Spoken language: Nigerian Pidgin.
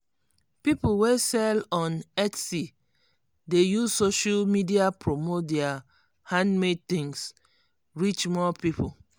people wey sell on etsy dey use social media promote their handmade things reach more people.